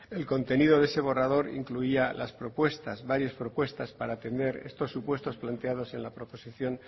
el contenido de ese borrador incluía las propuestas varias propuestas para atender estos supuestos planteados en la proposición